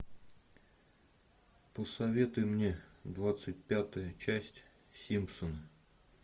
посоветуй мне двадцать пятую часть симпсоны